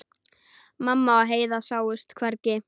Mamma og Heiða sáust hvergi.